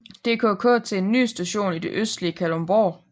DKK til en ny station i det østlige Kalundborg